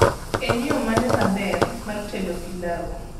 en yo mane maber mar tedo pilau